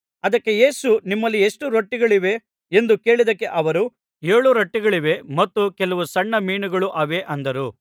ಅದಕ್ಕೆ ಯೇಸು ನಿಮ್ಮಲ್ಲಿ ಎಷ್ಟು ರೊಟ್ಟಿಗಳಿವೆ ಎಂದು ಕೇಳಿದ್ದಕ್ಕೆ ಅವರು ಏಳು ರೊಟ್ಟಿಗಳಿವೆ ಮತ್ತು ಕೆಲವು ಸಣ್ಣ ಮೀನುಗಳು ಅವೆ ಅಂದರು